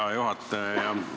Hea juhataja!